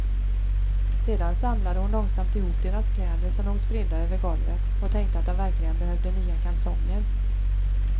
Sedan samlade hon långsamt ihop deras kläder som låg spridda över golvet och tänkte att de verkligen behövde nya kalsonger.